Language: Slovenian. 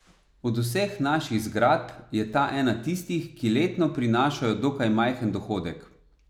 Od vseh naših zgradb je ta ena tistih, ki letno prinašajo dokaj majhen dohodek.